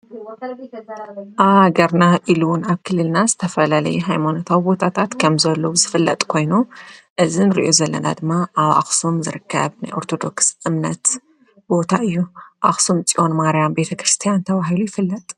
ገርና ኢሉውን ኣክልልና ዝተፈለለይ ኃይሞነታው ቦታታት ከም ዘሎ ዝፍለጥ ኮይኑ እዝን ርእዩ ዘለና ድማ ኣብ ኣኽስም ዘርካብ ናይ ኣርቶዶክስ እምነት ቦታ እዩ ኣኽስም ፂኦን ማርያን ቤተ ክርስቲያን ተዋሂሉ ይፍለጥ።